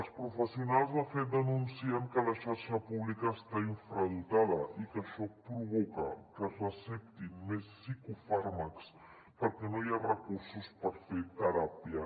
els professionals de fet denuncien que la xarxa pública està infradotada i que això provoca que es receptin més psicofàrmacs perquè no hi ha recursos per fer teràpia